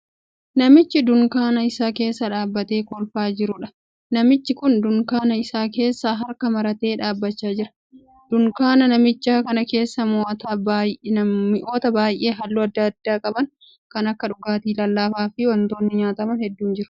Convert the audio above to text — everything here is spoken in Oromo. Namicha dunkaana isaa keessa dhaabbatee kolfaa jiruudha. Namichi kun dunkaana isaa keessa harka maratee dhaabbachaa jira. Dunkaana namichaa kana keessa mi'oota baayyee halluu addaa addaa qaban kan akka dhugaatii lallaafaa fi wantoonni nyaataman hedduun jiru.